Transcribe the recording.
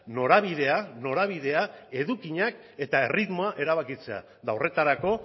norabidea norabidea edukiak eta erritmoa erabakitzea eta horretarako